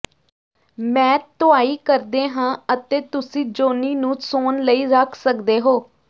ਮੈਂ ਧੁਆਈ ਕਰਦੇ ਹਾਂ ਅਤੇ ਤੁਸੀਂ ਜੌਨੀ ਨੂੰ ਸੌਣ ਲਈ ਰੱਖ ਸਕਦੇ ਹੋ